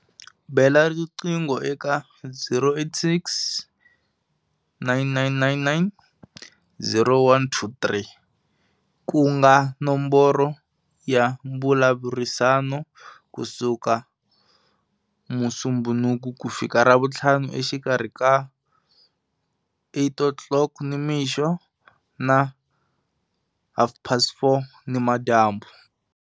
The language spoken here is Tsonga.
Bela riqingho eka- 086 999 0123, ku nga nomboro ya mbulavurisano, ku suka Musumbhunuku ku fika Ravutlhanu exikarhi ka 8 o'clock nimixo na half past 4 nimadyambu.